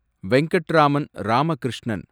Venkatraman Ramakrishnan